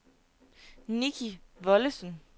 Nicki Wollesen